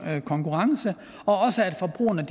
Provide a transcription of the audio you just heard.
konkurrence og også at forbrugerne